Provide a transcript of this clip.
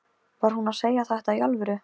Var hún að segja þetta í alvöru?